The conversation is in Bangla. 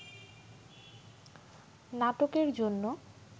নাটকের জন্য